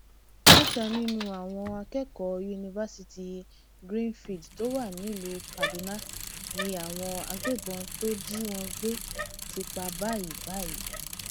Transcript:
mẹta nínú àwọn akẹkọọ yunifásitì greenfield tó wà nílùú kaduna ni àwọn agbébọn tó jí wọn gbé ti pa báyìí báyìí